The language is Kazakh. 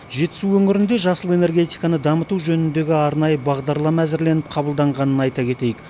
жетісу өңірінде жасыл энергетиканы дамыту жөніндегі арнайы бағдарлама әзірленіп қабылданғанын айта кетейік